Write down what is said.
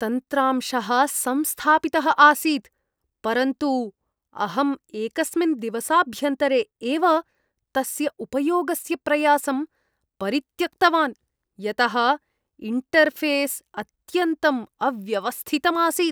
तन्त्रांशः संस्थापितः आसीत् परन्तु अहम् एकस्मिन् दिवसाभ्यन्तरे एव तस्य उपयोगस्य प्रयासं परित्यक्तवान् यतः इण्टर्ऴेस् अत्यन्तम् अव्यवस्थितम् आसीत्।